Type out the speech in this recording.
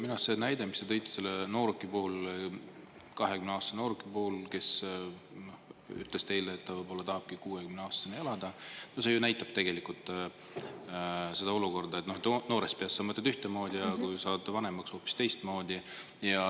Minu arust see näide, mis te tõite selle nooruki puhul, 20-aastase nooruki puhul, kes ütles teile, et ta võib-olla tahabki 60-aastaseni elada, no see ju näitab tegelikult seda olukorda, et noorest peast sa mõtled ühtemoodi ja kui saad vanemaks, hoopis teistmoodi.